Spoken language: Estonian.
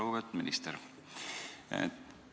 Lugupeetud minister!